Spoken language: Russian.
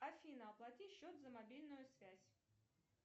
афина оплати счет за мобильную связь